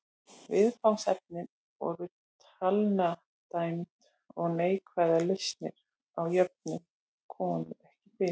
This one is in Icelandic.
Viðfangsefnin voru talnadæmi og neikvæðar lausnir á jöfnum komu ekki fyrir.